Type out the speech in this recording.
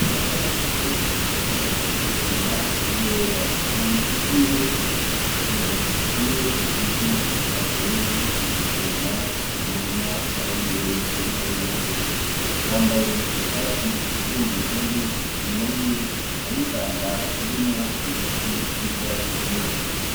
Basabose avuye gusoroma ibiyoba mu ntoki ziwe afise kimwe muvyo avuye gusoroma mu murima wiwe, uri hariya hepfo. Yambaye ishatsi ikozwe mu gitenge, inyuma yiwe hariho ishamba ririmwo ibiti n'ivyatsi vyinshi.